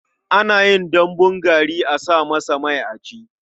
Ana yin dambun gari a sa masa mai a ci.